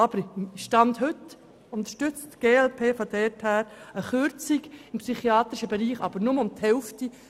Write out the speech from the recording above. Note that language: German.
Aufgrund des heutigen Standes unterstützt die glp eine Kürzung im psychiatrischen Bereich, allerdings nur um die Hälfte.